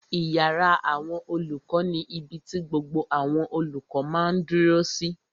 Ìyàrá àwọn olùkọ́ ni ibi ti gbogbo àwọn olùkọ́ máa dúró sí